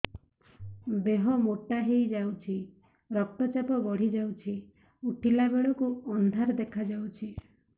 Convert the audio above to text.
ଦେହ ମୋଟା ହେଇଯାଉଛି ରକ୍ତ ଚାପ ବଢ଼ି ଯାଉଛି ଉଠିଲା ବେଳକୁ ଅନ୍ଧାର ଦେଖା ଯାଉଛି